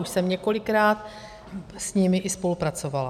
Už jsem několikrát s nimi i spolupracovala.